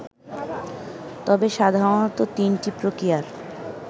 তবে সাধারণত তিনটি প্রক্রিয়ার